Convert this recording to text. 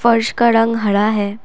फर्श का रंग हरा है।